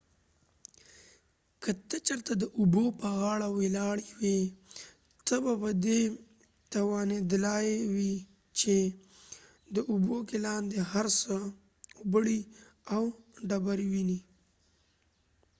که ته چېرته د اوبو په غاړه ولاړ وي ته به په دي توانیدلای وي چې د اوبو کې لاندې هر څه اوبړۍ او ډبری ووينی